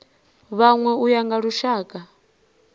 vhanwe u ya nga lushaka